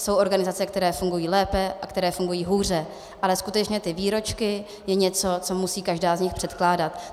Jsou organizace, které fungují lépe a které fungují hůře, ale skutečně ty výročky je něco, co musí každá z nich předkládat.